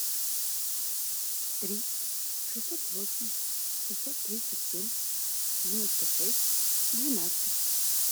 три шестьсот восемь шестьсот тридцать семь девяносто шесть двенадцать